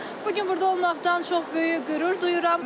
Bu gün burda olmaqdan çox böyük qürur duyuram.